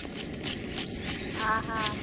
ଆ ହା